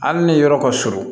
Hali ni yɔrɔ ka surun